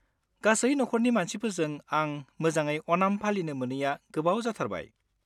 गासै नखरनि मानसिफोरजों आं मोजाङै अनाम पालिनो मोनैया गोबाव जाथारबाय।